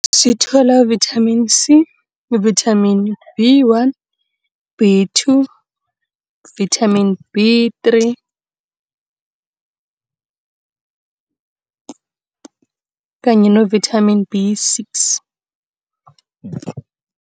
Sithola ivithamini C, vithamini B one, B two, vithamini B three kanye novithamini B six.